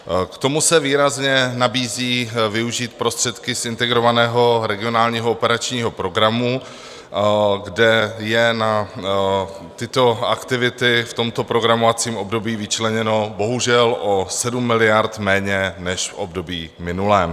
K tomu se výrazně nabízí využít prostředky z Integrovaného regionálního operačního programu, kde je na tyto aktivity v tomto programovacím období vyčleněno bohužel o 7 miliard méně než v období minulém.